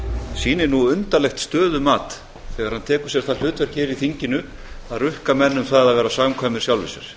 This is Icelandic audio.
sýnir nú undarlegt stöðumat þegar hann tekur sér það hlutverk hér í þinginu að rukka menn um það að vera samkvæmir sjálfum sér